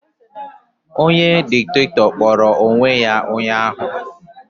Onye Diktatọ kpọrọ onwe ya ụnyaahụ